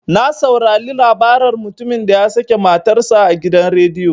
Na saurare labaran mutumin da ya sake matar sa a gidan rediyo.